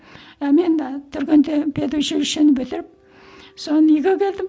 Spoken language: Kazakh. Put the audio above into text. і мен түргенде педучилищені бітіріп соны үйге келдім